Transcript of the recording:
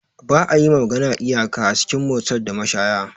Ba'a yiwa magana iyaka a cikin motels da mashaya.